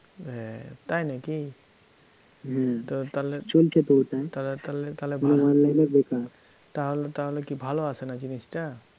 হ্যাঁ, তাই নাকি? তাহলে তাহলে কী ভালো আসে না জিনিসটা?